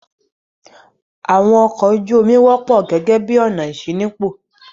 Àwọn ọkọ̀ ojú-omi wọ́pọ̀ gẹ́gẹ́ bí ọ̀nà ìṣínípò.